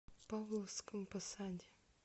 павловском посаде